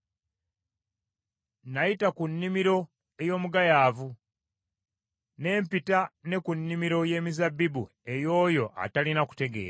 Nayita ku nnimiro ey’omugayaavu, ne mpita ne ku nnimiro y’emizabbibu ey’oyo atalina kutegeera.